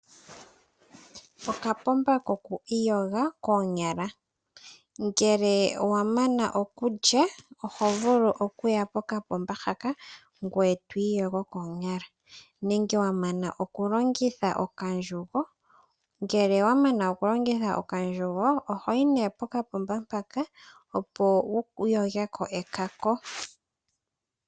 Okapomba koku iyoga koonyala. Ngele wa mana okulya oho vulu oku ya pokapomba haka ngoye to iyogo koonyala nenge wa mana oku longitha okandjugo ohoyi nee pokapomba mpaka, opo wu yoge ko ekako.